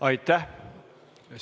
Aitäh!